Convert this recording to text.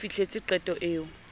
se o fihletse qeto eo